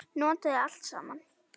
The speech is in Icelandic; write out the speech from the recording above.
Notaðu allt saman.